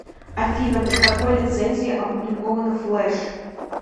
афина под какой лицензией опубликовано флеш